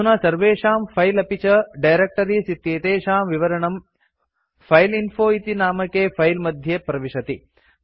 अधुना सर्वेषां फिले अपि च डायरेक्टरीज़ इत्येतेषां विवरणं फाइलइन्फो इति नामके फिले मध्ये प्रविशति